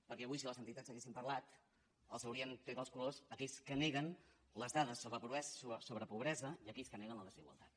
perquè avui si les entitats haguessin parlat haurien tret els colors a aquells que neguen les dades sobre pobresa i aquells que neguen la desigualtat